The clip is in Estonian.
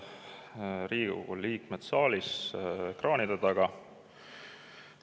Head Riigikogu liikmed saalis ja ekraanide taga!